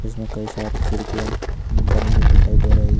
इसमें कई सारी खिड़कियां बनी हुई दिखाई दे रही है।